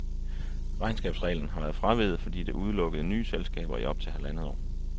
Regnskabsreglen har været fraveget, fordi det udelukkede nye selskaber i op til halvandet år.